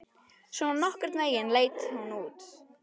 Svona nokkurn veginn leit hún út: